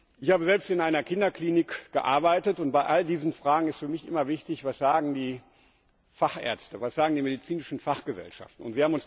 Ich habe selbst in einer Kinderklinik gearbeitet, und bei all diesen Fragen ist für mich immer wichtig, was die Fachärzte und die medizinischen Fachgesellschaften sagen.